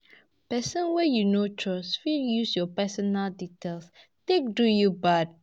Person wey you no trust fit use your personal details take do you bad